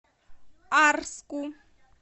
арску